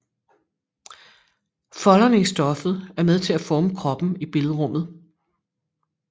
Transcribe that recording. Folderne i stoffet er med til at forme kroppen i billedrummet